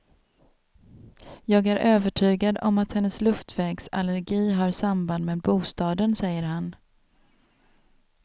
Jag är övertygad om att hennes luftvägsallergi har samband med bostaden, säger han.